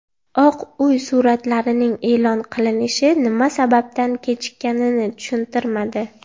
Oq Uy suratlarning e’lon qilinishi nima sababdan kechikkanini tushuntirmadi.